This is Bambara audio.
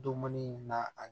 Dumuni na a